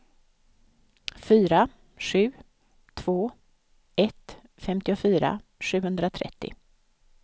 fyra sju två ett femtiofyra sjuhundratrettio